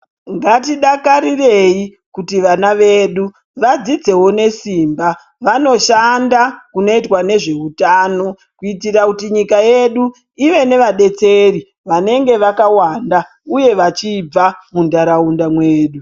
Ngatidakarirewo kuti vana vedu vadzidzewo nesimba vanoshanda kunoita nezvehutano kuitira kuti nyika yedu ive nevadetseri vanenge vakawanda uye vachibva mundaraunda medu.